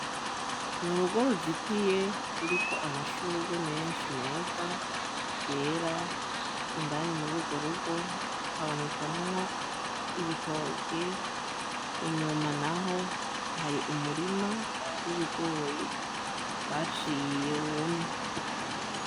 N'urugo ruzitiye ruriko amashugwe menshi meza, yera. Indani mururwo rugo habonekamwo ibitoke, inyuma naho hari umurima w'ibigori baciye wumye.